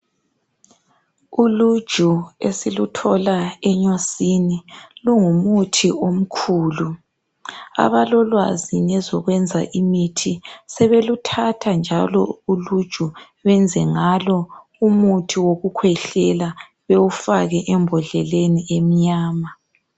Uluju esiluthola enyosini lungumuthi omkhulu. Abalolwazi ngezokwenza imithi, sebeluthatha njalo uluju benze ngalo umuthi wokukhwehlela, bewufake embhodleleni emnyama.